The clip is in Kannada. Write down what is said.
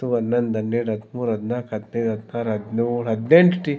ತ್ತು ಅನ್ನೊಂದ್ ಅನ್ನೆರ್ಡ್ ಅದ್ಮೂರ್ ಅದ್ನಾಕ್ ಹದ್ನೈದ್ ಹದ್ನಾರ್ ಹದ್ನೋಳ್ ಹದ್ನೆಂಟ್ ಟಿ .]